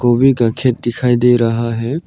गोवी का खेत दिखाई दे रहा है।